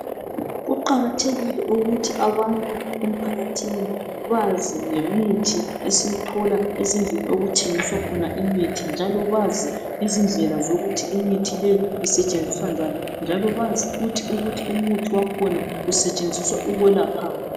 Kuqakathekile ukuthi abantu emphakathini bazi ngemithi esiyithola ezindlini okuthengiswa khona imithi, njalo bazi ukuthi imithi leyi isetshenziswa njani, njalo bazi ukuthi umuthi lowu usetshenziswa ukwelaphani